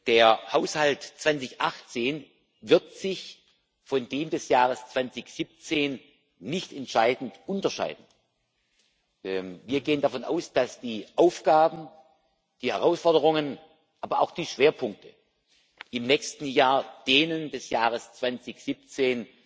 Der Haushalt 2018 wird sich von dem des Jahres 2017 nicht entscheidend unterscheiden. Wir gehen davon aus, dass die Aufgaben, die Herausforderungen, aber auch die Schwerpunkte im nächsten Jahr denen des Jahres 2017